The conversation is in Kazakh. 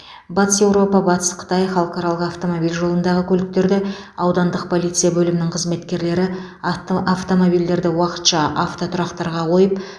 батыс еуропа батыс қытай халықаралық автомобиль жолындағы көліктерді аудандық полиция бөлімінің қызметкерлері авто автомобильдерді уақытша автотұрақтарға қойып